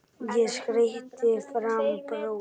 Ég kreisti fram bros.